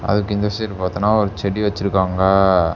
அதுக்கு இந்த சைடு பாத்தன்னா ஒரு செடி வெச்சிருக்காங்க.